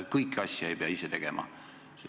Kõike ei pea ise tegema.